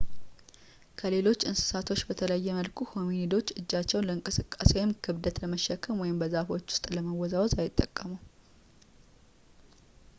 ከሌሎች እንስሶች በተለየ መልኩ ሆሚኒዶች እጆቻቸውን ለእንቅስቃሴ ወይም ክብደት ለመሸከም ወይም በዛፎቹ ውስጥ ለመወዛወዝ አይጠቀሙም